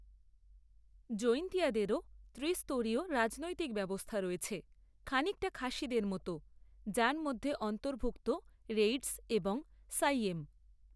জৈন্তিয়াদেরও ত্রিস্তরীয় রাজনৈতিক ব্যবস্থা রয়েছে খানিকটা খাসিদের মতো, যার মধ্যে অন্তর্ভুক্ত রেইডস এবং সাইয়েম।